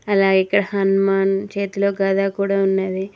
అలాగే ఇక్కడ హనుమాన్ చేతిలో గద్ద కూడా ఉన్నది.